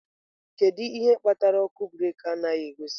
Kedu ihe kpatara ọkụ breeki anaghị egosi?